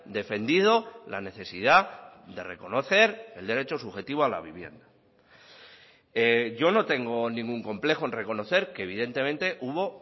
defendido la necesidad de reconocer el derecho subjetivo a la vivienda yo no tengo ningún complejo en reconocer que evidentemente hubo